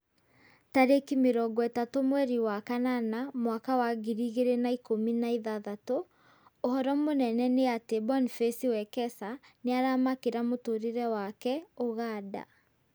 Tarĩki mĩrongo ĩtatũ mweri wa kanana mwaka wa ngiri igĩrĩ na ikũmi na ithathatũ: ũhoro mũnene nĩ atĩ Boniface Wekesa nĩaramakĩra mũtũrĩre wake Uganda